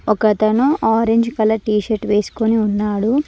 ఒకతను orange colour T shirt వేసుకొని ఉన్నాడు.